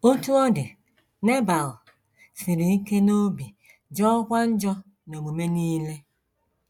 Otú ọ dị, Nebal “ siri ike n’obi, jọọkwa njọ n’omume nile. ”